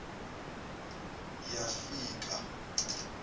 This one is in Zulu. yafika